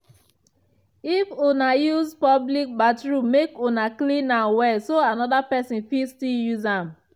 if una use public bathroom make una clean am well so another pesin fit still use am.